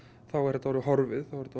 þá er þetta orðið horfið þá er þetta